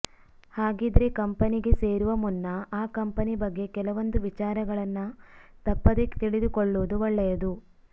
ಹಾಗಿದ್ರೆ ಕಂಪನಿಗೆ ಸೇರುವ ಮುನ್ನ ಆ ಕಂಪನಿ ಬಗ್ಗೆ ಕೆಲವೊಂದು ವಿಚಾರಗಳನ್ನ ತಪ್ಪದೇ ತಿಳಿದುಕೊಳ್ಳುವುದು ಒಳ್ಳೆಯದು